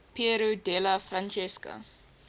piero della francesca